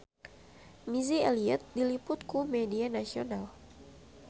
Missy Elliott diliput ku media nasional